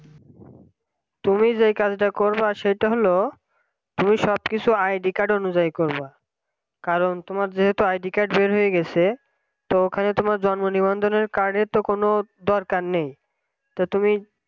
তুমি যে কাজটা করবা সেটা হল তুমি সব কিছু id card অনুযায়ী করবা কারণ তোমার যেহেতু id card বের হয়ে গেছে তো ওখানে তোমার জন্ম নিবন্ধন card তো কোন দরকার নেই তো তুমি